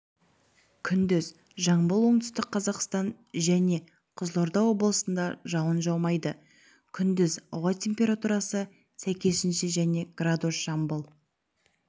күндіз жамбыл оңтүстік қазақстан жәнен қызылорда облысында жауын жаумайды күндіз ауа температурасы сәйкесінше және градус жамбыл